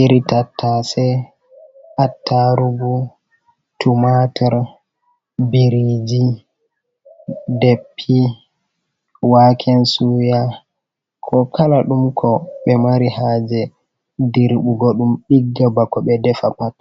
iritatta se, attarugu, tumatir, biriji, deppi, waken suya, ko kala ɗum ko ɓe mari ha je dirɓugo ɗum ɗigga bako ɓe defa pat.